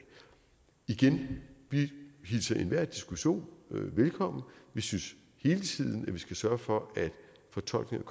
igen vi hilser enhver diskussion velkommen vi synes hele tiden at man skal sørge for at fortolkningen